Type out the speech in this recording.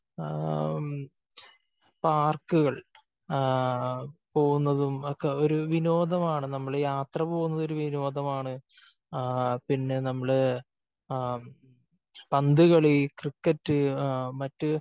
ആ പാർക്കുകൾ ആ പോകുന്നതും ഒക്കെ ഒരു വിനോദമാണ്. നമ്മൾ ഈ യാത്ര പോകുന്നത് ഒരു വിനോദമാണ്. ആ പിന്നെ നമ്മള് പന്ത് കളി, ക്രിക്കറ്റ് മറ്റ്